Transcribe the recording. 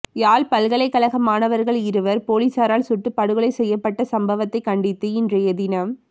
யாழ் பல்கலைகழக மாணவர்கள் இருவர் பொலிஸரால் சுட்டு படுகொலை செய்யப்பட்ட சம்பவத்தை கண்டித்து இன்றையதினம்